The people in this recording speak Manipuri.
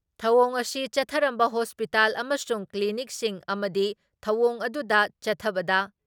ꯊꯧꯑꯣꯡ ꯑꯁꯤ ꯆꯠꯊꯔꯝꯕ ꯍꯣꯁꯄꯤꯇꯥꯜ ꯑꯃꯁꯨꯡ ꯀ꯭ꯂꯤꯅꯤꯛꯁꯤꯡ ꯑꯃꯗꯤ ꯊꯧꯑꯣꯡ ꯑꯗꯨꯗ ꯆꯠꯊꯕꯗ